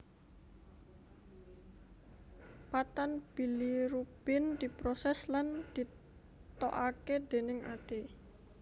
Padtan bilirubin diprosès lan ditokaké dèning ati